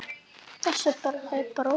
Þessi bróðir hennar!